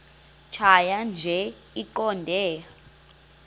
tjhaya nje iqondee